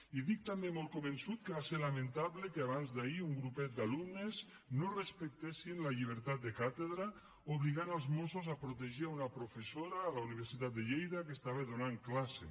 i dic també molt convençut que va ser lamentable que abans d’ahir un grupet d’alumnes no respectessin la llibertat de càtedra i obliguessin els mossos a protegir una professora a la universitat de lleida que estava donant classe